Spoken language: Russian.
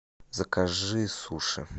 закажи суши